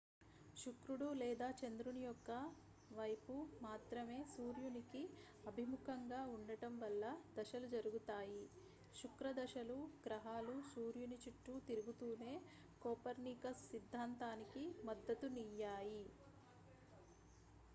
శుక్రుడు లేదా చంద్రుని యొక్క వైపు మాత్రమే సూర్యుని కి అభిముఖంగా ఉండటం వల్ల దశలు జరుగుతాయి శుక్రదశలు గ్రహాలు సూర్యుని చుట్టూ తిరుగుతునే కోపర్నికస్ సిద్ధాంతానికి మద్దతు నియ్యాయి